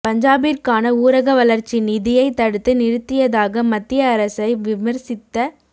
பஞ்சாபிற்கான ஊரக வளர்ச்சி நிதியை தடுத்து நிறுத்தியதாக மத்திய அரசை விமர்சித்த